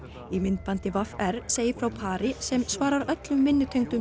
í myndbandi v r segir frá pari sem svarar öllum